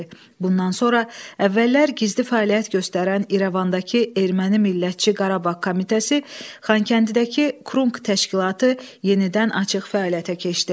Bundan sonra əvvəllər gizli fəaliyyət göstərən İrəvandakı Erməni Millətçi Qarabağ Komitəsi Xankəndidəki Krunk təşkilatı yenidən açıq fəaliyyətə keçdi.